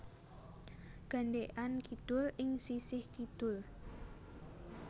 Gandekan Kidul ing sisih kidul